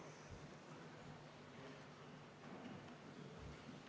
Ilmar Tomusk selgitas, et tavaliselt makstakse see otsekohe või väga ruttu, sellega probleeme ei ole.